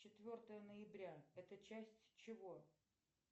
четвертое ноября это часть чего